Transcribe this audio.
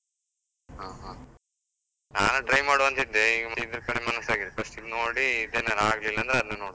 ಹಾ ಹಾ ನಾನ್ try ಮಾಡುವಾಂತಿದ್ದೆ, ಈಗ ಇದ್ರ ಕಡೆ ಮನಸ್ಸಾಗಿದೆ first ಇದ್ ನೋಡಿ then ಆಗ್ಲಿಲ್ಲ ಅಂದ್ರೆ ನಂತ್ರ ಅದನ್ನ್ ನೋಡ್ತೆ.